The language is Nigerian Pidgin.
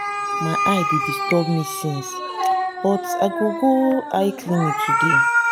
my eye dey disturb me since but i go go eye clinic today